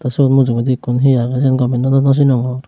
sot mujungedi ekku he age sen gome nw sinongor.